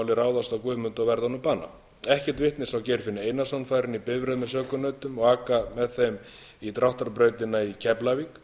ráðast á guðmund og verða honum að bana ekkert vitni sá geirfinn einarsson fara inn í bifreið með sökunautunum og aka með þeim í dráttarbrautina í keflavík